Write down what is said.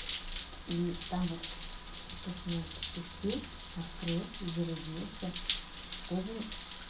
и там вот то что не надо ты отпустил открыл зарядился тоже